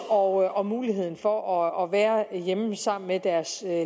og muligheden for at være hjemme sammen med deres